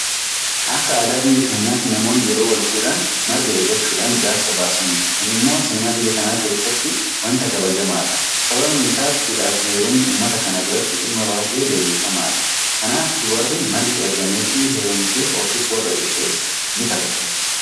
Akka aadaa biyya keenyaatti namoonni yeroo walfuudhan marga ergachuudhaan jaarsa baasaniitu. Kun immoo seenaa biyya kanaa keessatti waanta kabajamaadha. Sababni isaas fuudhaafu heerumni uummata kana biratti dhimma baay'ee leellifamaadha. Kanaaf dubarri margi ergameefii heerumte ofis warra ishees nikabachiifti.